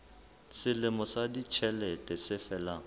selemo sa ditjhelete se felang